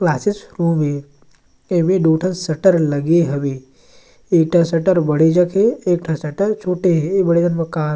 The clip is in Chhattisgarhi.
क्लासेज होवि एवे दु ठन शटर लगे हवे एक ठ शटर बड़े जग हे एक ठ शटर छोटे हे ए बड़े जान मकान--